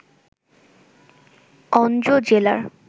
অনজো জেলা